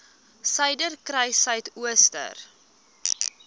suiderkruissuidooster